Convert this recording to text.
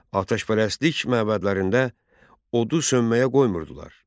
Atəşpərəstlik məbədlərində odu söndürməyə qoymurdular.